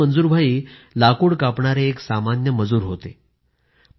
आधी मंजूर भाई लाकूड कापणारे एक सामान्य मजूर होते